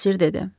Bosir dedi.